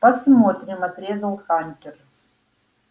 посмотрим отрезал хантер